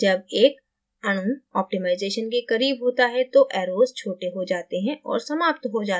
जब एक अणु ऑप्टिमाइज़ेशन के करीब होता है तो arrows छोटे हो जाते हैं और समाप्त हो जाते हैं